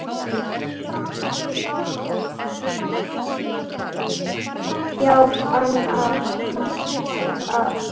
Já, annan stað.